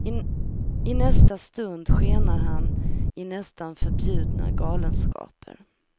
I nästa stund skenar han i nästan förbjudna galenskaper.